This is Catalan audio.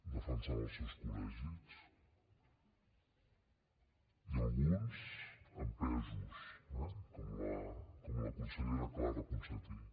defensant els seus col·legis i alguns empesos eh com la consellera clara ponsatí